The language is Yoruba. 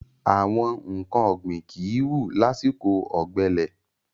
Àwọn nǹkan ọ̀gbìn kìí wù lásìkò ọ̀gbẹlẹ̀.